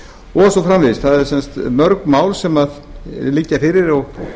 og svo framvegis það eru sem sagt mörg mál sem liggja fyrir og